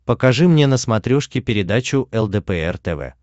покажи мне на смотрешке передачу лдпр тв